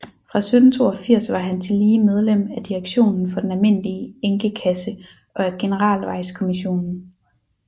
Fra 1782 var han tillige medlem af direktionen for den almindelige enkekasse og af Generalvejkommissionen